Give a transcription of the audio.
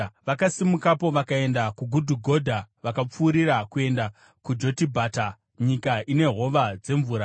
Vakasimukapo vakaenda kuGudhugodha vakapfuurira kuenda kuJotibhata, nyika ine hova dzemvura.